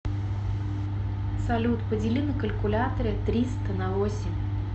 салют подели на калькуляторе триста на восемь